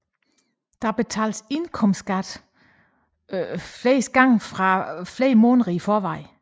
Dog betales indkomstskat oftest flere måneder i forvejen